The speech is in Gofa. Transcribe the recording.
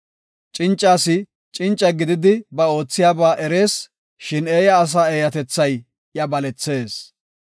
Cinca asi cinca gidiya ba oothiyaba erees; shin eeya asa eeyatethay iya balethees.